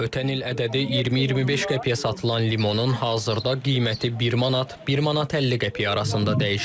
Ötən il ədədi 20-25 qəpiyə satılan limonun hazırda qiyməti 1 manat, 1 manat 50 qəpik arasında dəyişir.